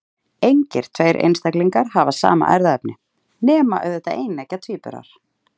Engir tveir einstaklingar hafa sama erfðaefni, nema auðvitað eineggja tvíburar.